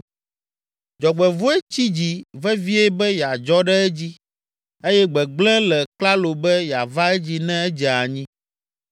Dzɔgbevɔ̃e tsi dzi vevie be yeadzɔ ɖe edzi eye gbegblẽ le klalo be yeava edzi ne edze anyi.